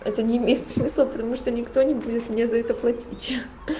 это не имеет смысла потому что никто не будет мне за это платить